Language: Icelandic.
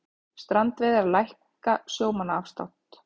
Strandveiðar hækka sjómannaafslátt